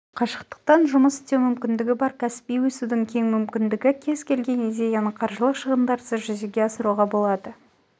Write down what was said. қашықтықтан жұмыс істеу мүмкіндігі бар кәсіби өсудің кең мүмкіндігі кез-келген идеяны қаржылық шығындарсыз жүзеге асыруға болады